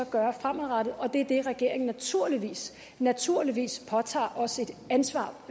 gøre fremadrettet og det er det regeringen naturligvis naturligvis påtager sig et ansvar